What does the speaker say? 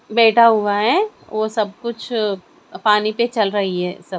बैठा हुआ है वो सब कुछ पानी पे चल रही है सब--